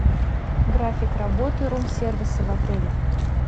график работы рум сервиса в отеле